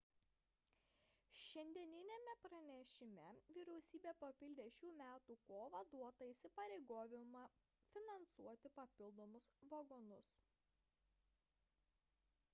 šiandieniniame pranešime vyriausybė papildė šių metų kovą duotą įsipareigojimą finansuoti papildomus vagonus